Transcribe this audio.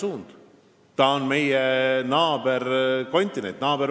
Aafrika on meie naaberkontinent.